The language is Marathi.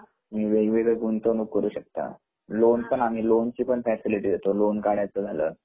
तुम्ही वेगवेगळी गुंतवणूक करू शकता लोन पण आम्ही लोन ची पण फँसिलीटी देतो लोन काढायचं झाल